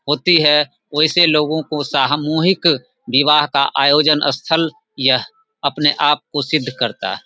होती है वैसे लोगों को सामूहिक विवाह का आयोजन स्थल यह अपने आप को सिद्ध करता --